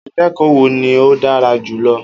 Akẹ́kọ̀ọ́ wo ni o dára jù lọ